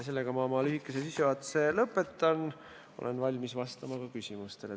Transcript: Sellega ma oma lühikese sissejuhatuse lõpetan ja olen valmis vastama küsimustele.